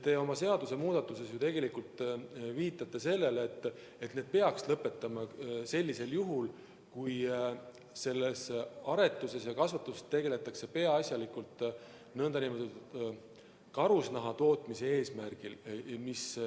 Te oma seadusemuudatuses viitate ju tegelikult sellele, et peaks lõpetama sellisel juhul, kui aretuse ja kasvatusega tegeletakse peaasjalikult karusnaha tootmise eesmärgil.